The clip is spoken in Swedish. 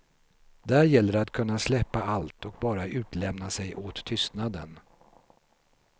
Där gäller det att kunna släppa allt och bara utlämna sig åt tystnaden.